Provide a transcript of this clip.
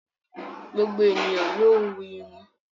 Gbogbo ènìyàn ló ń wú irun.